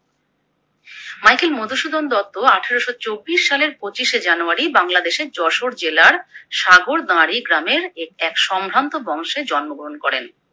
Michael Madhusudan Dutta আঠারোশো চব্বিশ সালের পঁচিশে জানুয়ারি বাংলাদেশের যশোর জেলার সাগরদাঁড়ি গ্রামের এ এক সম্ভ্রান্ত বংশে জন্মগ্রহণ করেন।